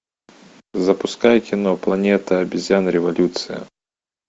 запускай кино планета обезьян революция